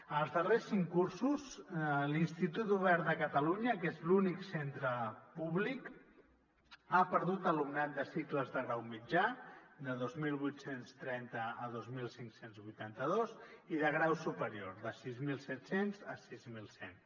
en els darrers cinc cursos l’institut obert de catalunya que és l’únic centre públic ha perdut alumnat de cicles de grau mitjà de dos mil vuit cents i trenta a dos mil cinc cents i vuitanta dos i de grau superior de sis mil set cents a sis mil cent